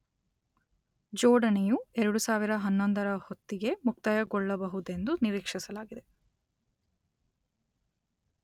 ಜೋಡಣೆಯು ಎರಡು ಸಾವಿರದ ಹನ್ನೊಂದರ ಹೊತ್ತಿಗೆ ಮುಕ್ತಾಯಗೊಳ್ಳಬಹುದೆಂದು ನಿರೀಕ್ಷಿಸಲಾಗಿದೆ.